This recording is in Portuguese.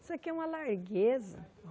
Isso aqui é uma largueza.